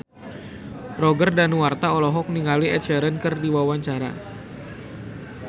Roger Danuarta olohok ningali Ed Sheeran keur diwawancara